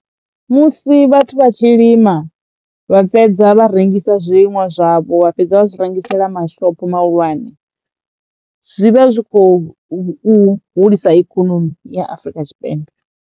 Musi vhathu vha tshi lima vha fhedza vha rengisa zwavho vha fhedza vha zwi rengisela mashopo mahulwane zwi vha zwi kho hu u hulisa ikonomi ya Afrika Tshipembe.